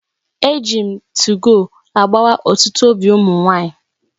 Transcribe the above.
Eji m 2go agbawa otutu obi umu nwanyi